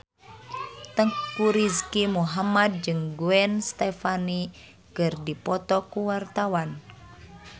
Teuku Rizky Muhammad jeung Gwen Stefani keur dipoto ku wartawan